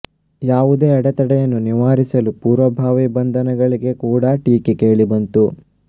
ಯಾವುದೇ ಅಡೆತಡೆಯನ್ನು ನಿವಾರಿಸಲು ಪೂರ್ವಭಾವಿ ಬಂಧನಗಳಿಗೆ ಕೂಡ ಟೀಕೆ ಕೇಳಿಬಂತು